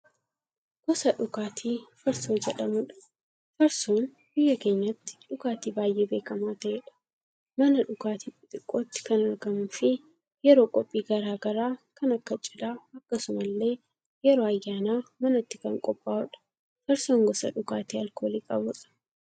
Gosa dhugaatii farsoo jedhamudha. Farsoon biyya keenyatti dhugaatii baay'ee beekamaa ta'edha. Mana dhugaatii xixiqqootti kan argamuufi yeroo qophii garaagaraa kan akka cidhaa akkasumallee yeroo ayyaanaa manatti kan qophaa'udha. Farsoon gosa dhugaatii alkoolii qabudha.